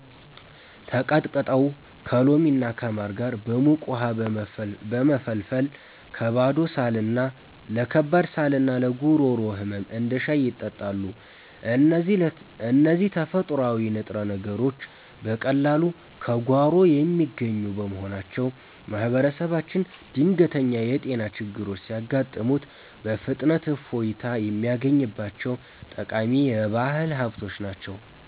ተቀጥቅጠው ከሎሚና ከማር ጋር በሙቅ ውሃ በመፈልፈል ለከባድ ሳልና ለጉሮሮ ህመም እንደ ሻይ ይጠጣሉ። እነዚህ ተፈጥሯዊ ንጥረ ነገሮች በቀላሉ ከጓሮ የሚገኙ በመሆናቸው፣ ማህበረሰባችን ድንገተኛ የጤና ችግሮች ሲያጋጥሙት በፍጥነት እፎይታ የሚያገኝባቸው ጠቃሚ የባህል ሀብቶች ናቸው።